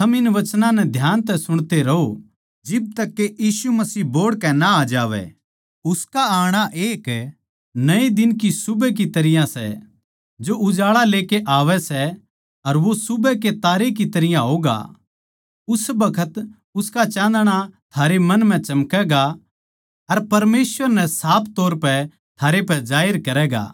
थम इन वचनां नै ध्यान तै सुणते रहो जिब तक के यीशु मसीह बोहड़कै ना आ जावै उसका आणा एक नये दिन की सुबह की तरियां सै जो उजाळा लेकै आवै सै अर वो सुबह के तारे की तरियां होगा उस बखत उसका चाँदणा थारे मन म्ह चमकैगा अर परमेसवर नै साफ तौर पै थारे पै जाहिर करैगा